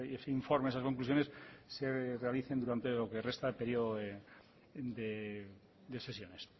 ese informe esas conclusiones se realicen durante lo que resta de periodo de sesiones